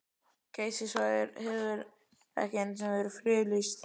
Geysissvæðið hefur ekki einu sinni verið friðlýst.